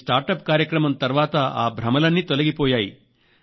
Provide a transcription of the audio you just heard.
ఈ స్టార్టప్ కార్యక్రమం తర్వాత ఆ భ్రమలన్నీ తొలగిపోయాయి